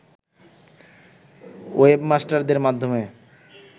ওয়েবমাস্টরদের মাধ্যমে